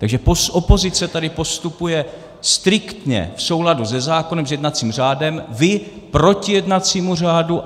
Takže opozice tady postupuje striktně v souladu se zákonem, s jednacím řádem, vy proti jednacímu řádu.